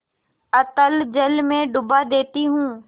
अतल जल में डुबा देती हूँ